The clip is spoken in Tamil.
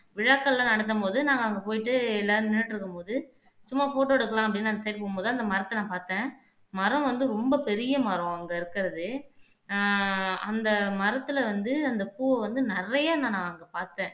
விழாக்கள் எல்லாம் நடத்தும்போது நாங்க அங்க போயிட்டு எல்லாரும் நின்னுட்டு இருக்கும்போது சும்மா போட்டோ எடுக்கலாம் அப்படின்னு அந்த சைடு போகும்போது அந்த மரத்த நான் பார்த்தேன் மரம் வந்து ரொம்ப பெரிய மரம் அங்க இருக்கிறது ஆஹ் அந்த மரத்துல வந்து அந்த பூவை வந்து நிறைய நான் அங்க பார்த்தேன்